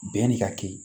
Bɛnni ka kɛ